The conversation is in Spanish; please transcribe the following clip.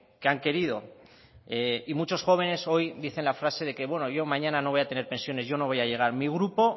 que han querido y muchos jóvenes hoy dicen la frase de que bueno yo mañana no voy a tener pensiones yo no voy a llegar mi grupo